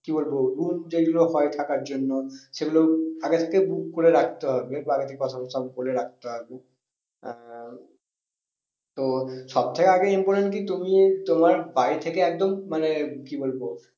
কি বলবো room যেগুলো হয় থাকার জন্য সেগুলো আগে থেকে book করে রাখতে হবে কথা সব বলে রাখতে হবে। আহ তো সব থেকে আগে important কি তুমি তোমার বাড়ি থেকে একদম মানে কি বলবো